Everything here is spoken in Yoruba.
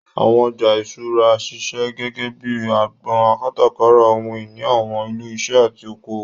Àwọn ọjà ìṣúra ń ṣiṣẹ́ gẹ́gẹ́ bíi agbọn kátàkárà ohun ìní àwọn ilé iṣẹ́ àti oko òwò.